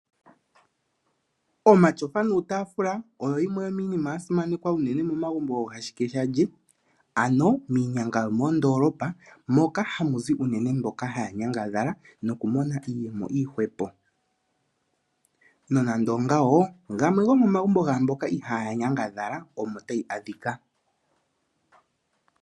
Omatsofa nuutafula oyo yimwe yomiinima yasimanekwa uunene momagumbo goohashuk shalye ano miinyanga yomoondolopa moka hamu zi uunene mboka haa nyangadhala noku